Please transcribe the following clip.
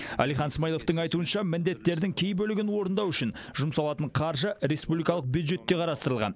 әлихан смайыловтың айтуынша міндеттердің кей бөлігін орындау үшін жұмсалатын қаржы республикалық бюджетте қарастырылған